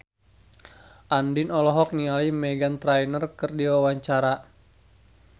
Andien olohok ningali Meghan Trainor keur diwawancara